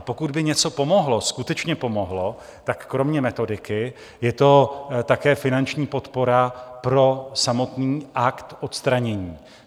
A pokud by něco pomohlo, skutečně pomohlo, tak kromě metodiky je to také finanční podpora pro samotný akt odstranění.